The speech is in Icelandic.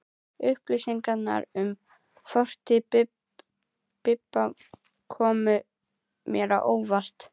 Upplýsingarnar um fortíð Bibba komu mér á óvart.